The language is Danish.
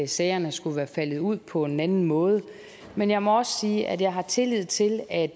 sagerne skulle være faldet ud på en anden måde men jeg må også sige at jeg har tillid til at